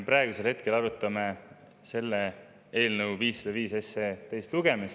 Praegu me arutame eelnõu 505, on selle teine lugemine.